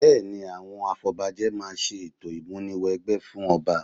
Bẹ́ẹ̀ni, àwọn afọbajẹ máa ṣe ètò ìmúni wẹgbẹ́ fún ọba